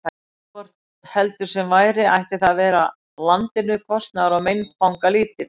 Hvort heldur sem væri, ætti það að vera landinu kostnaðar- og meinfangalítið.